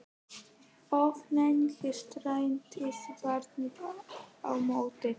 Of lengi streittist barnið á móti